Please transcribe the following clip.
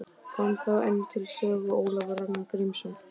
Kom þá enn til sögu Ólafur Ragnar Grímsson.